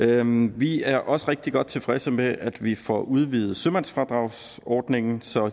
det om vi er også rigtig godt tilfredse med at vi får udvidet sømandsfradragsordningen så